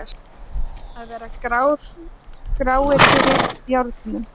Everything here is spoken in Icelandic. Að vera gráir fyrir járnum